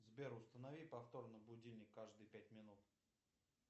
сбер установи повтор на будильник каждые пять минут